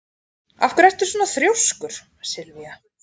Af hverju ertu svona þrjóskur, Sylva?